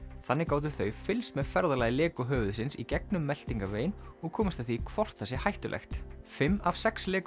þannig gátu þau fylgst með ferðalagi Lego höfuðsins í gegnum meltingarveginn og komist að því hvort það sé hættulegt fimm af sex Lego